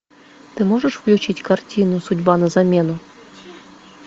ты можешь включить картину судьба на замену